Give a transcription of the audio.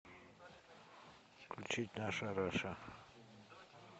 включить наша раша